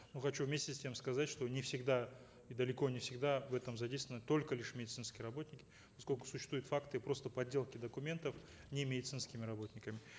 но хочу вместе с тем сказать что не всегда и далеко не всегда в этом задействованы только лишь медицинские работники поскольку существуют факты просто подделки документов немедицинскими работниками